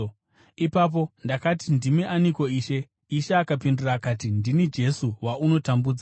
“Ipapo ndakati, ‘Ndimi aniko, Ishe?’ “Ishe akapindura akati, ‘Ndini Jesu waunotambudza.